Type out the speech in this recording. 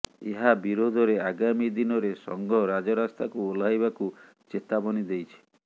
ଏହା ବିରୋଧରେ ଆଗାମୀ ଦିନରେ ସଂଘ ରାଜରାସ୍ତାକୁ ଓହ୍ଲାଇବାକୁ ଚେତାବନୀ ଦେଇଛି